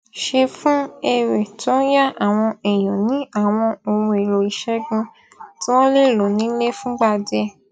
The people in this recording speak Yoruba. ṣe fún èrè tó ń yá àwọn èèyàn ní àwọn ohunèlò ìṣègùn tí wón lè lò nílé fúngbà díè